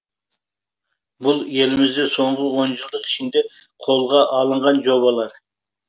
бұл елімізде соңғы он жылдық ішінде қолға алынған жобалар